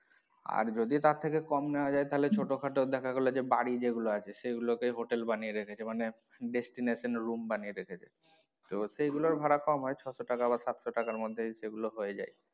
আর যদি তার থেকে কম নেওয়া যায় তাহলে ছোটো খাটো দেখা গেলো যে বাড়ি যেগুলো আছে সেগুলো কেই হোটেল বানিয়ে রেখেছে মানে destination room বানিয়ে রেখেছে তো সেগুলোর ভাড়া কম হয় ছয়শ টাকা বা সাতশো টাকার মধ্যে এগুলো হয়ে যায়।